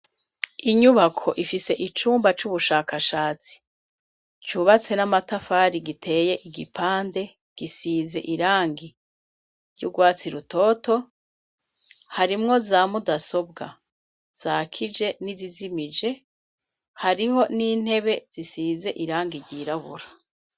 Inyubako ifise icumba c'ubushakashatsi cubatse n'amatafari giteye igipande gisize irangi ry'urwatsi rutoto harimwo za mudasobwa zakije n'izizimije hariho n'intebe zisize irangi ryiraburae.